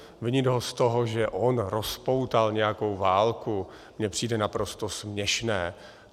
Vinit ho z toho, že on rozpoutal nějakou válku, mně přijde naprosto směšné.